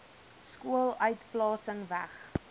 skool uitplasing weg